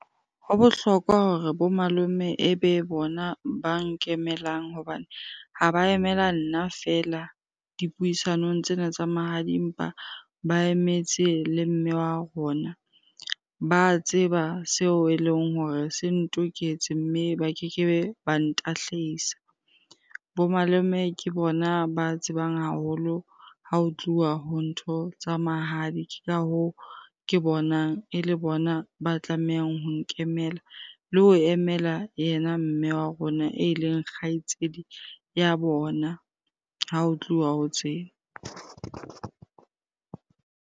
Ho bohlokwa hore bo malome e be bona ba nkemelang hobane ha ba emela nna feela dipuisanong tsena tsa mahadi, empa ba emetse le mme wa rona. Ba tseba seo eleng hore se ntoketse mme ba kekebe ba ntahlisa. Bo malome ke bona ba tsebang haholo ha ho tluwa ho ntho tsa mahadi. Ke ka hoo, ke bonang e le bona ba tlamehang ho nkemela le ho emela yena mme wa rona eleng kgaitsedi ya bona ha ho tluwa ho tse.